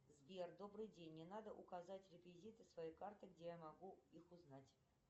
сбер добрый день мне надо указать реквизиты своей карты где я могу их узнать